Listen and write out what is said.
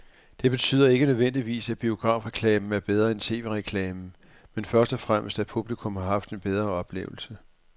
Det betyder ikke nødvendigvis, at biografreklamen er bedre end tv-reklamen, men først og fremmest at publikum har haft en bedre oplevelse.